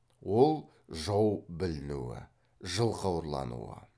ол жау білінуі жылқы ұрлануы